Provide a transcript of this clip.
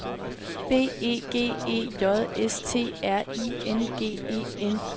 B E G E J S T R I N G E N